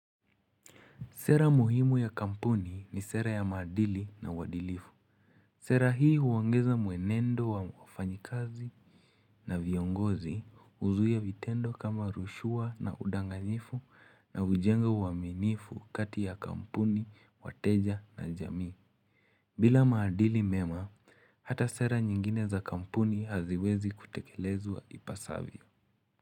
Sera muhimu ya kampuni ni sera ya maadili na uadilifu. Sera hii huongeza mwenendo wa wafanyikazi na viongozi huzuia vitendo kama rushwa na udanganyifu na hujenga uaminifu kati ya kampuni, wateja na jamii. Bila maadili mema, hata sera nyingine za kampuni haziwezi kutekelezwa ipasavyo.